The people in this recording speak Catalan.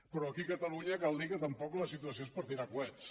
però aquí a catalunya cal dir que tampoc la situació és per tirar coets